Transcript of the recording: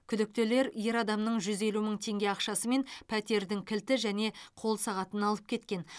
күдіктілер ер адамның жүз елу мың теңге ақшасы мен пәтердің кілті және қол сағатын алып кеткен